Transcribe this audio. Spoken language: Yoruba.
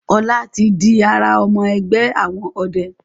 Ola tí dì àrà ọmọ ẹgbẹ àwọn ọdẹ.